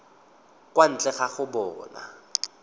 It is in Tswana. kwa ntle ga go bona